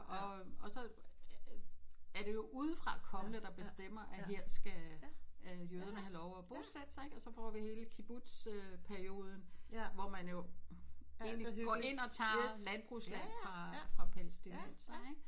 Og og så er det jo udefrakommende der bestemmer at her skal øh jøderne have lov at bosætte sig ikke og så får vi hele Kibbutz øh perioden hvor man jo egentlig går ind og tager landbrugsland fra palæstinenser ikke